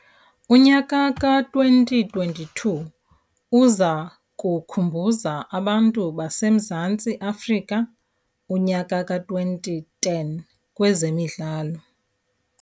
Unyaka ka-2022 uza kukhumbuza abantu baseMzantsi Afrika unyaka ka-2010 kwezemidlalo.